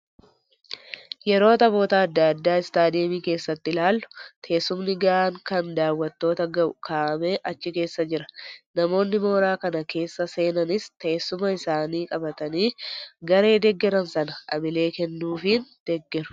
Yeroo taphoota adda addaa istaadiyoomii keessatti ilaallu teessumni gahaan kan daawwattoota gahu kaa'amee achi keessa Jira. Namoonni mooraa kana keessa seenanis teessuma isaanii qabatanii garee deeggaram sana hamilee kennuufiin deeggaru.